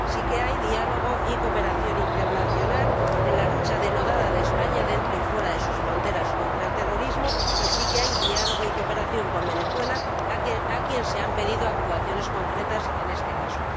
Sí hay diálogo y cooperación internacional en la lucha denodada de España, dentro y fuera de sus fronteras, contra el terrorismo, y sí hay diálogo y cooperación con Venezuela, a quien se han pedido actuaciones concretas en este caso.